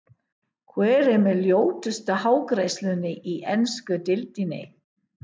Hver er með ljótustu hárgreiðsluna í ensku deildinni?